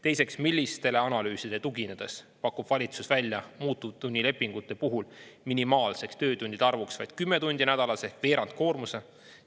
Teiseks, millistele analüüsidele tuginedes pakub valitsus välja, muutuvtunnilepingute puhul minimaalseks töötundide arvuks vaid 10 tundi nädalas ehk veerandkoormuse?